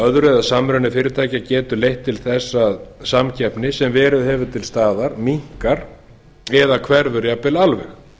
öðru eða samruni fyrirtækja getur leitt til þess að samkeppni sem hefur verið til staðar minnkar eða hverfur jafnvel alveg